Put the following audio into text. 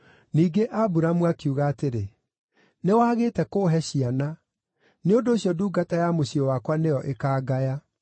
Ningĩ Aburamu akiuga atĩrĩ, “Nĩwagĩte kũũhe ciana; nĩ ũndũ ũcio ndungata ya mũciĩ wakwa nĩyo ĩkaangaya.”